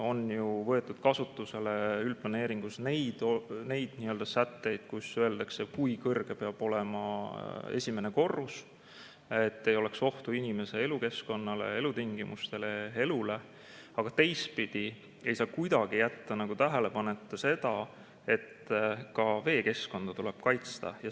On ju võetud kasutusele üldplaneeringus neid sätteid, kus öeldakse, kui kõrge peab olema esimene korrus, et ei oleks ohtu inimese elukeskkonnale, elutingimustele ja elule, aga teistpidi ei saa kuidagi jätta tähelepanuta seda, et ka veekeskkonda tuleb kaitsta.